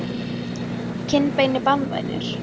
kinnbeini banvænir?